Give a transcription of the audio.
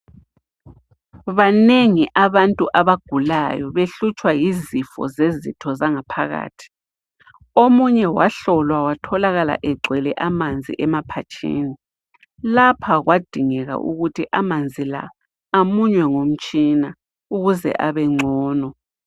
Banengi abantu abagulayo behlutshwa yizifo zezitho zangaphakathi omunye wahlolwa watholakala egcwele amanzi emaphatshini lapha kwadingeka ukuthi amanzi amunywe ngumtshina ukuze abe ngcono.